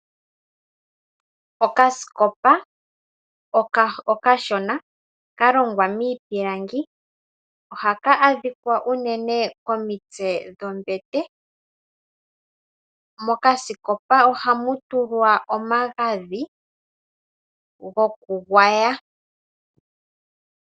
Okasikopa okashona kalongwa miipilangi ohaka adhika unene komitse dho mbete. Mo kasikopa ohamu tulwa omagadhi goku gwaya.